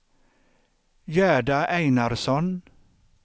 Gerda Einarsson